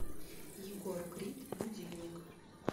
егор крид будильник